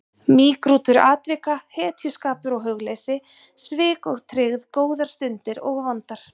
Mýgrútur atvika, hetjuskapur og hugleysi, svik og tryggð, góðar stundir og vondar.